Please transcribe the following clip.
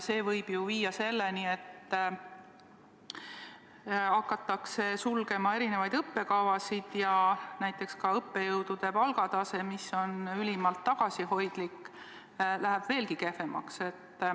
See võib ju viia selleni, et eri õppekavasid hakatakse sulgema ja õppejõudude palgatase, mis on niigi ülimalt tagasihoidlik, läheb veelgi kehvemaks.